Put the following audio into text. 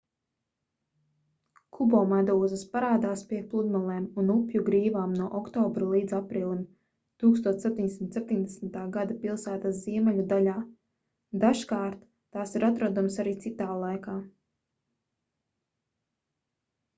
kubomedūzas parādās pie pludmalēm un upju grīvām no oktobra līdz aprīlim 1770. gada pilsētas ziemeļu daļā dažkārt tās ir atrodamas arī citā laikā